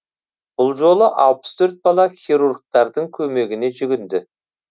бұл жолы алпыс төрт бала хирургтардың көмегіне жүгінді